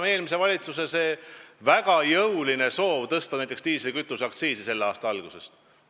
Eelmisel valitsusel oli väga jõuline soov tõsta selle aasta alguses diislikütuse aktsiisi.